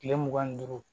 Kile mugan ni duuru